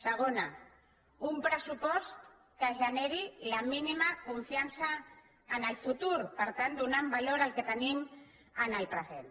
segona un pressupost que generi la mínima confiança en el futur per tant donant valor al que tenim en el present